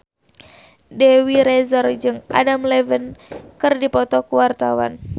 Dewi Rezer jeung Adam Levine keur dipoto ku wartawan